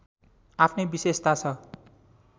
आफ्नै विशेषता छ